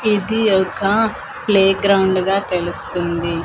ఇది ఒక ప్లేగ్రౌండ్ గా తెలుస్తుంది.